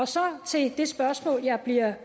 så til det spørgsmål jeg bliver